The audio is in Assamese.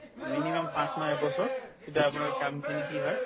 minimum পাঁচমাহ এবছৰ তেতিয়া আপোনাৰ কামখিনি কি হয়